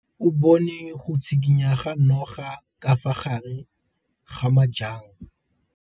O bone go tshikinya ga noga ka fa gare ga majang.